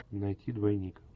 найти двойник